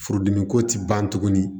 Furudimi ko ti ban tuguni